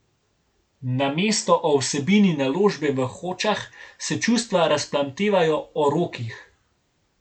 Namesto o vsebini naložbe v Hočah se čustva razplamtevajo o rokih.